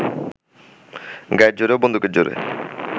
গায়ের জোরে ও বন্দুকের জোরে